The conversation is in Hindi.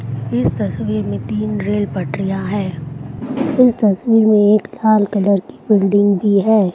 इस तस्वीर में तीन रेल पटरियां है। इस तस्वीर में लाल बिल्डिंग भी है।